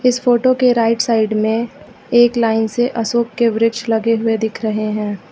इस फोटो के right side में एक लाइन से अशोक के वृक्ष लगे हुए दिख रहे हैं।